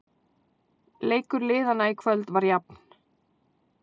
Leikur liðanna í kvöld var jafn